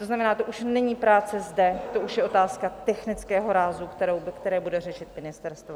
To znamená, to už není práce zde, to už je otázka technického rázu, kterou bude řešit ministerstvo.